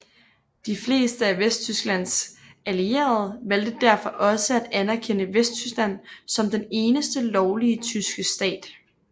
De fleste af Vesttysklands allierede valgte derfor også at anerkende Vesttyskland som den eneste lovlige tyske stat